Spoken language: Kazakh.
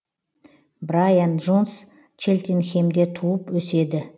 брайан джонс челтенхемде туып өседі